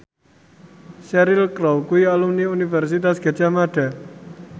Cheryl Crow kuwi alumni Universitas Gadjah Mada